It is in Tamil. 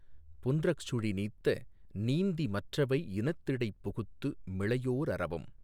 புன்றஃசுழி நீத்த நீந்தி மற்றவை இனத்திடைப் புகுத்து மிளையோ அரவம்